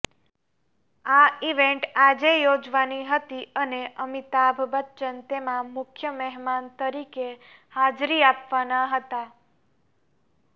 આ ઈવેન્ટ આજે યોજાવાની હતી અને અમિતાભ બચ્ચન તેમાં મુખ્ય મહેમાન તરીકે હાજરી આપવાના હતા